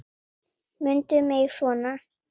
Mundu mig svona.